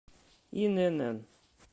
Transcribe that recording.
инн